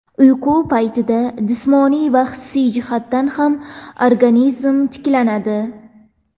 Uyqu paytida jismoniy va hissiy jihatdan ham organizm tiklanadi.